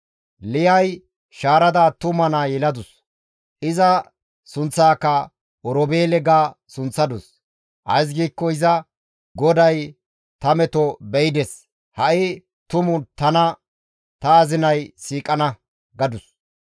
Liyay shaarada attuma naa yeladus; iza sunththaaka Oroobeele ga sunththadus; ays giikko iza, «GODAY ta meto be7ides; ha7i tumu tana ta azinay siiqana» gadus.